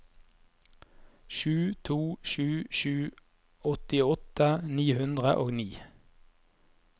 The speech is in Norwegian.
sju to sju sju åttiåtte ni hundre og ni